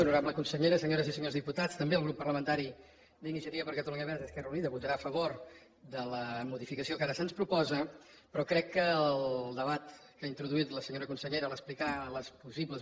honorable consellera senyores i senyors diputats també el grup parlamentari d’iniciativa per catalunya verds esquerra unida votarà a favor de la modificació que ara se’ns proposa però crec que el debat que ha introduït la senyora consellera a l’explicar les possibles